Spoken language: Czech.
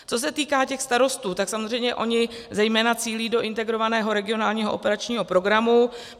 Co se týká těch starostů, tak samozřejmě oni zejména cílí do Integrovaného regionálního operačního programu.